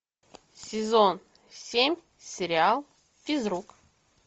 сезон семь сериал физрук